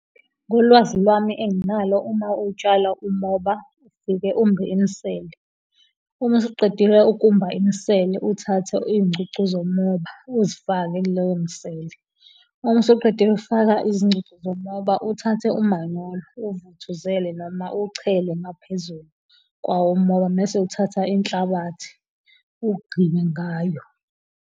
Ngolwazi lwami enginalo uma utshala umoba ufike umbe imisele, uma usuqedile ukumba imisele, uthathe izingcucu zomoba uzifake kuleyo misele, uma usuqede ukuzifaka izngcucu zomoba uthathe umanyolo uwuvuthuzele noma uwuchele ngaphezulu kwawo umoba mese uthatha inhlabathi ogqibe ngayo.